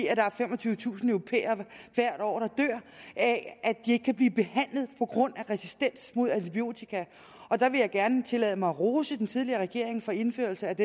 er femogtyvetusind europæere der hvert år dør af at de ikke kan blive behandlet på grund af resistens mod antibiotika og der vil jeg gerne tillade mig at rose den tidligere regering for indførelse af